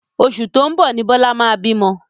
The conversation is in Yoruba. Oṣù tóun bọ̀ ni Bọlá máa bímọ.